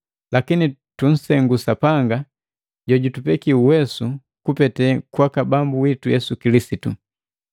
Lakini tunsengu Sapanga jojutupeki uwesu kupete kwaka Bambu witu Yesu Kilisitu.